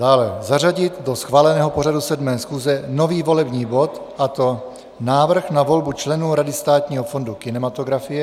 Dále zařadit do schváleného pořadu 7. schůze nový volební bod, a to návrh na volbu členů Rady Státního fondu kinematografie.